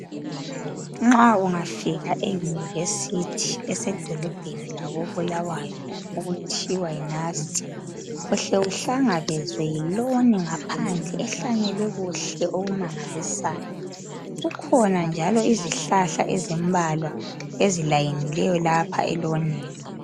Nxa ungafika eyunivesithi lasedolobheni lako Bulawayo okuthiwa yiNust. Uhle uhlangabezwe yiloni ngaphandle ehlanyelwe kuhle okumangalisayo, kukhona njalo izihlahla ezimbalwa ezilayinileyo lapha elonini.